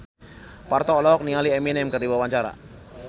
Parto olohok ningali Eminem keur diwawancara